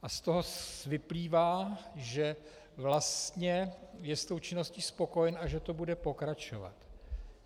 A z toho vyplývá, že vlastně je s tou činností spokojen a že to bude pokračovat.